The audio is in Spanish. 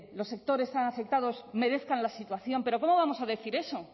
los sectores afectados merezcan la situación pero cómo vamos a decir eso